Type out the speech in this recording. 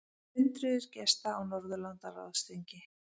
Hundruðir gesta á Norðurlandaráðsþingi